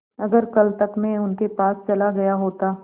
अगर कल तक में उनके पास चला गया होता